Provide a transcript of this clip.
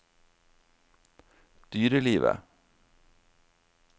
dyrelivet